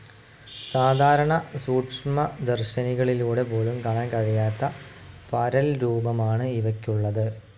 സാധാരണ സൂക്ഷ്മദർശിനികളിലൂടെ പോലും കാണാൻ കഴിയാത്ത പരൽരൂപമാണ് ഇവയ്ക്കുള്ളത്.